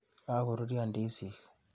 Kokoruryo ndizik.